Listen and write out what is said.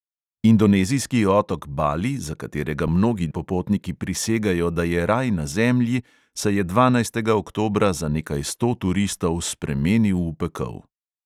Indonezijski otok bali, za katerega mnogi popotniki prisegajo, da je raj na zemlji, se je dvanajstega oktobra za nekaj sto turistov spremenil v pekel.